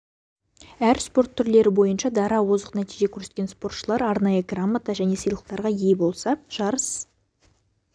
әр спорт түрлері бойынша дара озық нәтиже көрсеткен спортшылар арнайы грамота және сыйлықтарға ие болса жарыс